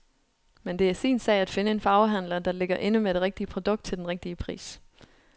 Men det er sin sag at finde en farvehandler, der ligger inde med det rigtige produkt til den rigtige pris.